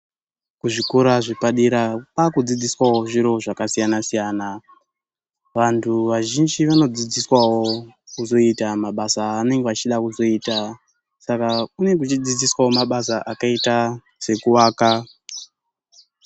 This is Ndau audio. Kuzvikora zvepadera kwaakudzidziswawo zviro zvakasiyana-siyana. Vantu vazhinji vanodzidziswawo kuzoita mabasa aanenge vachida kuzoita. Saka kunenge kuchidzidziswawo mabasa akaita sekuaka.